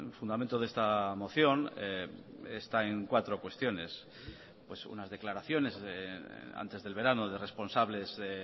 fundamento de esta moción está en cuatro cuestiones pues unas declaraciones antes del verano de responsables de